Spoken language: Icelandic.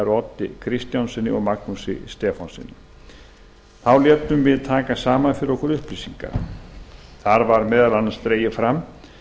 oddi kristjánssyni og magnúsi stefánssyni þá létum við taka saman fyrir okkur upplýsingar þar var meðal annars dregið fram